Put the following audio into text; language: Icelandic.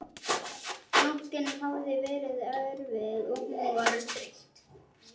Nóttin hafði verið erfið og hún var þreytt.